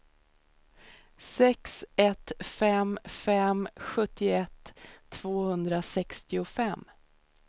sex ett fem fem sjuttioett tvåhundrasextiofem